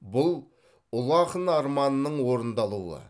бұл ұлы ақын арманының орындалуы